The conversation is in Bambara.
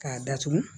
K'a datugu